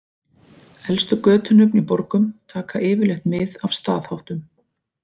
Elstu götunöfn í borgum taka yfirleitt mið af staðháttum.